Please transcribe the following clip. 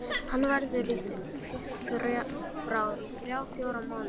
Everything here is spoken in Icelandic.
Hann verður frá í þrjá til fjóra mánuði.